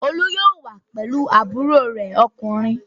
Olú yóò wá pẹ̀lú àbúrò rẹ̀ ọkùnrin.